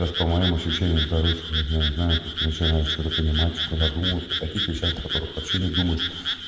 лёш по моим ощущениям короче вот я не знаю как-то начинаешь что-то понимать что-то задумываться о таких вещах которых вообще не думаешь